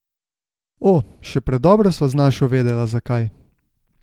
O, še predobro sva z našo vedela zakaj.